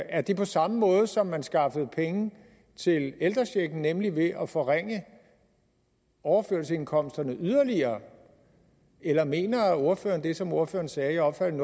er det på samme måde som man skaffede penge til ældrechecken nemlig ved at forringe overførselsindkomsterne yderligere eller mener ordføreren det som ordføreren sagde jeg opfattede